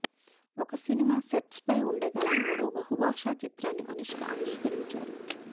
ఒక సినిమా సెట్స్పై ఉండగానే మరో బహుభాషా చిత్రాన్ని అనుష్క అంగీకరించారు